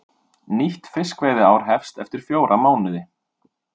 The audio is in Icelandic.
Nýtt fiskveiðiár hefst eftir fjóra mánuði